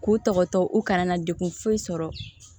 K'u tɔgɔtɔ u kana na degun foyi sɔrɔ